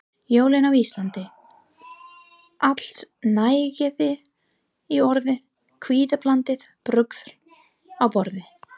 Jólin á Íslandi: Allsnægtir í orði, kvíðablandið bruðl á borði.